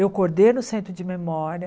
Eu coordeno o centro de memória.